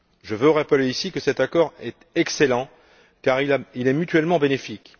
Je veux rappeler ici que cet accord est excellent car il est mutuellement bénéfique.